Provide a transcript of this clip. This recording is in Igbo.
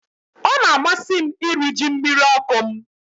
Ọ na-amasị m iri ji mmiri ọkụ m